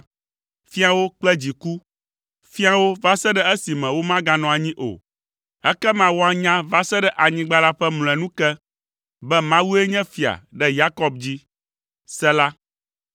fia wo kple dziku, fia wo va se ɖe esime womaganɔ anyi o. Ekema woanya va se ɖe anyigba la ƒe mlɔenu ke, be Mawue nye fia ɖe Yakob dzi. Sela